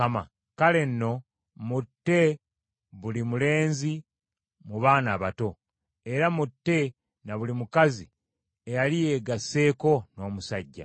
Kale nno mutte buli mulenzi mu baana abato, era mutte na buli mukazi eyali yeegasseeko n’omusajja.